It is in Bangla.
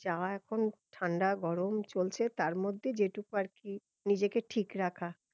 যা এখন ঠান্ডা গরম চলছে তার মধ্যে যেটুকু আর কি নিজেকে ঠিক রাখা